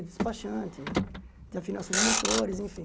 De despachante, de afinação de motores, enfim.